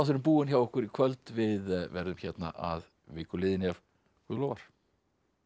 búinn hjá okkur í kvöld við verðum hérna að viku liðinni ef Guð lofar takk